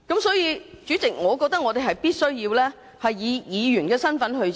因此，主席，我們必須以議員的身份展開調查。